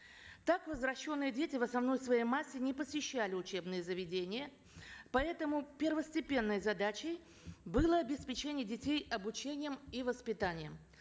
так возвращенные дети в основной своей массе не посещали учебные заведения поэтому первостепенной задачей было обеспечение детей обучением и воспитанием